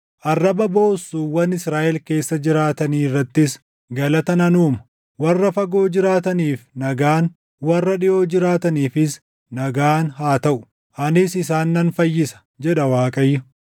arraba boossuuwwan Israaʼel keessa jiraatanii irrattis // galata nan uuma. Warra fagoo jiraataniif nagaan, warra dhiʼoo jiraataniifis nagaan haa taʼu. Anis isaan nan fayyisa” jedha Waaqayyo.